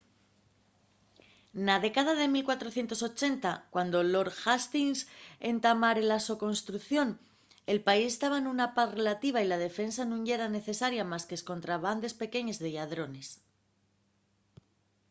na década de 1480 cuando lord hastings entamare la so construcción el país taba nuna paz relativa y la defensa nun yera necesaria más qu’escontra bandes pequeñes de lladrones